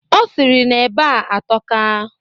Ọ sịrị na eba a atọka